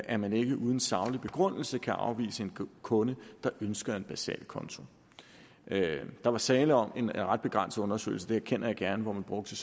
at man ikke uden saglig begrundelse kan afvise en kunde der ønsker en basal konto der var tale om en ret begrænset undersøgelse det erkender jeg gerne hvor man brugte